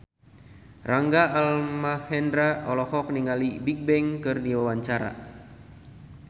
Rangga Almahendra olohok ningali Bigbang keur diwawancara